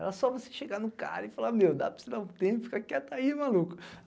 Era só você chegar no cara e falar, meu, dá para esperar um tempo, fica quieta aí, maluco.